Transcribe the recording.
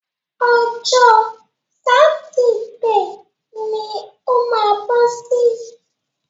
Ọjọ́ sátidé ni o má bọ́ sí.